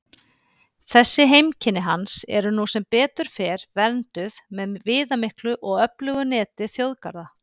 Þessi heimkynni hans eru nú sem betur fer vernduð með viðamiklu og öflugu neti þjóðgarða.